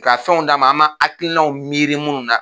K'a fɛnw d'a ma an m'a hakilinaw miiri munnu na.